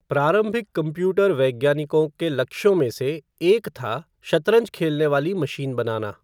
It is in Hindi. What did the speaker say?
प्रारंभिक कंप्यूटर वैज्ञानिकों के लक्ष्यों में से एक था शतरंज खेलने वाली मशीन बनाना।